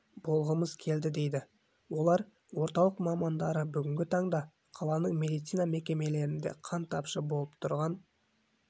болғымыз келді дейді олар орталық мамандары бүгінгі таңда қаланың медицина мекемелерінде қан тапшы болып тұрған